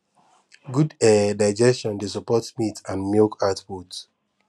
good um digestion dey support meat and milk output